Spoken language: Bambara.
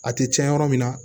A tɛ cɛn yɔrɔ min na